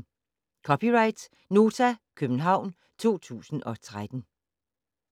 (c) Nota, København 2013